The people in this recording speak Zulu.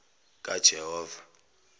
kajehova